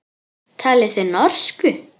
Talið þið norsku.